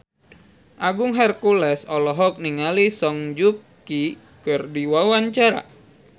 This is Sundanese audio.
Agung Hercules olohok ningali Song Joong Ki keur diwawancara